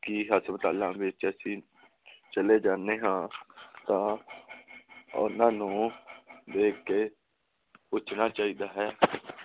ਕਿ ਹਸਪਤਾਲ ਵਿਚ ਅਸੀਂ ਚਲੇ ਜਾਣੇ ਹਾਂ ਤਾ ਓਹਨਾ ਨੂੰ ਦੇਖ ਕੇ ਪੁੱਛਣਾ ਚਾਹੀਦਾ ਹੈ ।